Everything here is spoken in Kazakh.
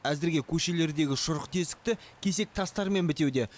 әзірге көшелердегі шұрық тесікті кесек тастармен бітеуде